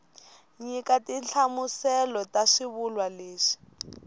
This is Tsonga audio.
nyika tinhlamuselo ta swivulwa leswi